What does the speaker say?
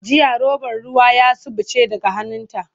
Jiya robar ruwa zafi ya suɓuce daga hannunta.